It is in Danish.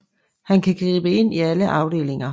Han kan gribe ind i alle afdelinger